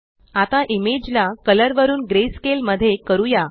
आता इमेज ला कलर वरुन ग्रेस्केल मध्ये करूया